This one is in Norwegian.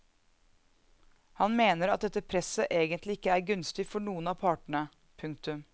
Han mener at dette presset egentlig ikke er gunstig for noen av partene. punktum